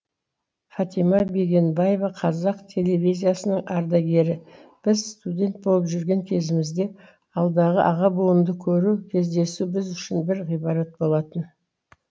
фатима бегенбаева қазақ телевизиясының ардагері біз студент болып жүрген кезімізде алдағы аға буынды көру кездесу біз үшін бір ғибрат болатын